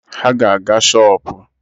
Ha ga-aga shọpụ